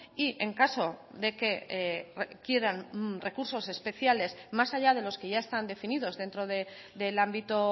y en caso de que quieran recursos especiales más allá de los que ya están definidos dentro del ámbito